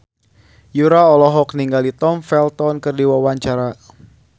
Yura olohok ningali Tom Felton keur diwawancara